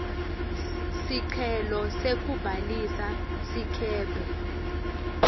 sicelo sekubhalisa sikebhe